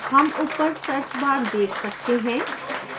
हम ऊपर search bar देख सकते हैं